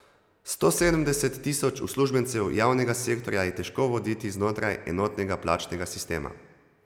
Sto sedemdeset tisoč uslužbencev javnega sektorja je težko voditi znotraj enotnega plačnega sistema.